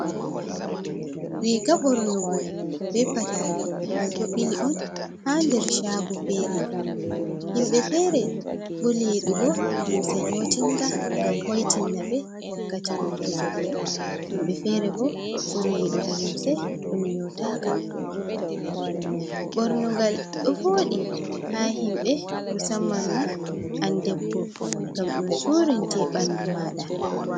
Riiga bornugo be patari ɗum ɗo ɓili on haa nder caago feere .Himɓe fere ɓuri yiɗugo limse nyootinga ,ngam hoytinna ɓe wakkati nyootugo. Himbe feere bo ɓuri yiɗugo limse ɗum nyootaka .Ɓornugal ɗo wooɗi haa himɓe, musamman ma an debbo ngam ɗum surinte ɓanndu maaɗa.